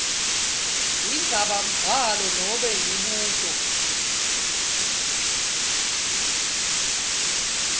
indzabambhalo nobe imibuto